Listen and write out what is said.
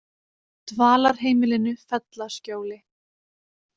Dvalarheimilinu Fellaskjóli